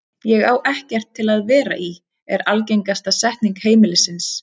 Ég á ekkert til að vera í, er algengasta setning heimilisins.